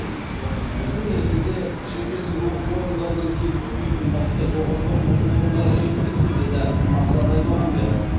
біздің елімізде шетелдік оқу орындарынан кем түспейтін мықты жоғарғы оқу орындары жеткілікті деді асхат аймағамбетов